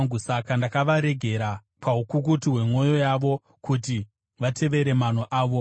Saka ndakavaregera paukukutu hwemwoyo yavo, kuti vatevere mano avo.